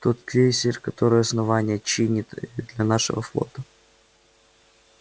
тот крейсер который основание чинит для нашего флота